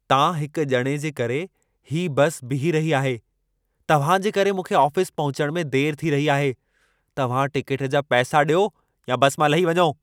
तां हिक ॼणे जे करे हीअ बस बीही रही आहे। तव्हां जे करे मूंखे आफ़िस में पहुचण में देर थी रही आहे। तव्हां टिकेट जा पैसा ॾियो या बस मां लही वञो।